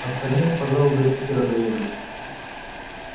остальные пожалуй до питера доедут